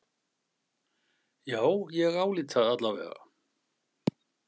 Já ég álít það alla vega.